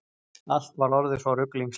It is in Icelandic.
Allt var orðið svo ruglingslegt.